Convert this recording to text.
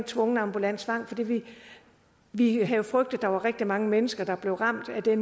tvungen ambulant tvang fordi vi vi havde frygtet at der var rigtig mange mennesker der blev ramt af